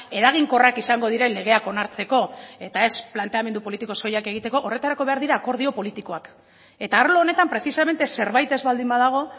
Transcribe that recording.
eraginkorrak izango diren legeak onartzeko eta ez planteamendu politiko soilak egiteko horretarako behar dira akordio politikoak eta arlo honetan precisamente zerbait ez baldin badago